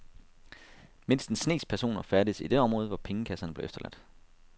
Mindst en snes personer færdedes i det område, hvor pengekasserne blev efterladt.